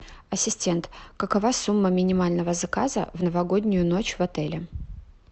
ассистент какова сумма минимального заказа в новогоднюю ночь в отеле